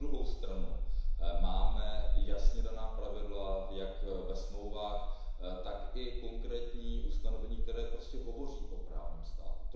Na druhou stranu máme jasně daná pravidla, jak ve Smlouvách, tak i konkrétní ustanovení, které prostě hovoří o právním státu.